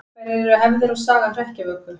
Hverjar eru hefðir og saga hrekkjavöku?